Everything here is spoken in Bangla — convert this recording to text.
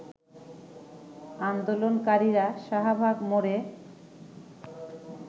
আন্দোলনকারীরা শাহবাগ মোড়ে